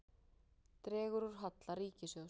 Dregur úr halla ríkissjóðs